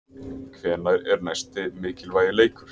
Hvenær er næsti mikilvægi leikur?